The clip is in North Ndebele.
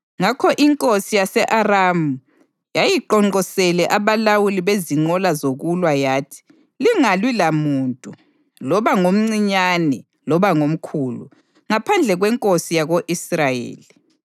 Ngakho inkosi yase-Aramu yayiqonqosele abalawuli bezinqola zokulwa yathi, “Lingalwi lamuntu, loba ngomncinyane loba ngomkhulu, ngaphandle kwenkosi yako-Israyeli.”